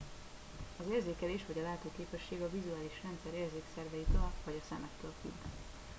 az érzékelés vagy a látóképesség a vizuális rendszer érzékszerveitől vagy a szemektől függ